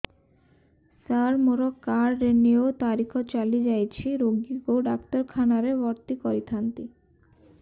ସାର ମୋର card renew ତାରିଖ ଚାଲି ଯାଇଛି ରୋଗୀକୁ ଡାକ୍ତରଖାନା ରେ ଭର୍ତି କରିଥାନ୍ତି